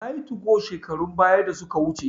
Nayi tugo shekarun baya da suka wuce